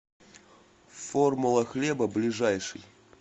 формула хлеба ближайший